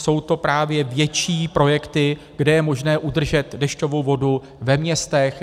Jsou to právě větší projekty, kde je možné udržet dešťovou vodu ve městech.